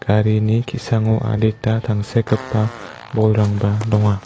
garini ki·sango adita tangsekgipa bolrangba donga.